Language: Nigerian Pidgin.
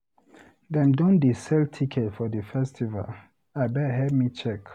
Dem don dey sell ticket for di festival? Abeg help me check.